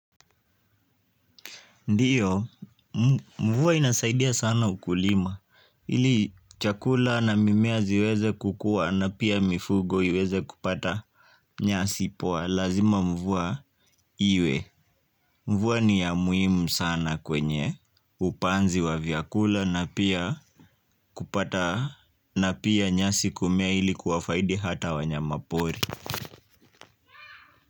Ndiyo, mvua inasaidia sana ukulima ili chakula na mimea ziweze kukua na pia mifugo iweze kupata nyasi poa lazima mvua iwe mvua ni ya muhimu sana kwenye upanzi wa vyakula na pia kupata na pia nyasi kumea ili kuwafaidi hata wanyamapori.